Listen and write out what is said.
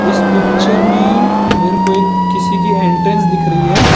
इस पिक्चर में मेरे को ये किसी की एंट्रेंस दिख रही है।